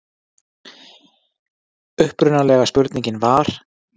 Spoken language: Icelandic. Upprunalega spurningin var: